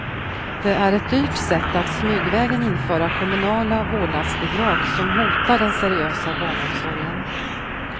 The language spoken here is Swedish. Det är ett dyrt sätt att smygvägen införa kommunala vårdnadsbidrag som hotar den seriösa barnomsorgen.